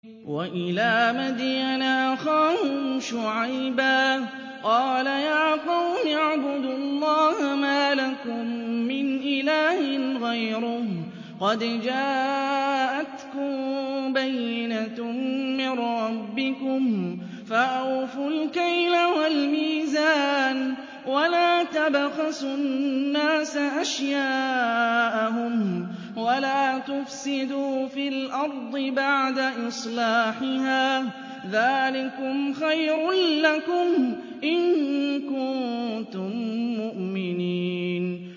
وَإِلَىٰ مَدْيَنَ أَخَاهُمْ شُعَيْبًا ۗ قَالَ يَا قَوْمِ اعْبُدُوا اللَّهَ مَا لَكُم مِّنْ إِلَٰهٍ غَيْرُهُ ۖ قَدْ جَاءَتْكُم بَيِّنَةٌ مِّن رَّبِّكُمْ ۖ فَأَوْفُوا الْكَيْلَ وَالْمِيزَانَ وَلَا تَبْخَسُوا النَّاسَ أَشْيَاءَهُمْ وَلَا تُفْسِدُوا فِي الْأَرْضِ بَعْدَ إِصْلَاحِهَا ۚ ذَٰلِكُمْ خَيْرٌ لَّكُمْ إِن كُنتُم مُّؤْمِنِينَ